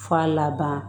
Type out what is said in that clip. F'a laban